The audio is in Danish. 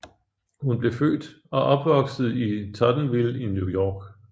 Hun blev født og opvoksede i Tottenville i New York